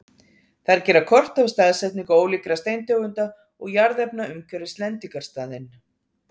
þær gera kort af staðsetningu ólíkra steintegunda og jarðefna umhverfis lendingarstaðinn